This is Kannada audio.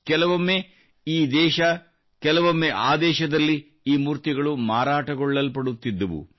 ಕೆಲವೊಮ್ಮೆ ಈ ದೇಶ ಕೆಲವೊಮ್ಮೆ ಆ ದೇಶದಲ್ಲಿ ಈ ಮೂರ್ತಿಗಳು ಮಾರಾಟಗೊಳ್ಳಲ್ಪಡುತ್ತಿದ್ದವು